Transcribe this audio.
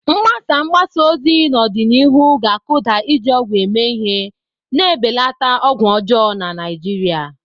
Mgbasa mgbasa ozi n'ọdịnihu ga-akụda iji ọgwụ eme ihe, na-ebelata ọgwụ ọjọọ na Naijiria.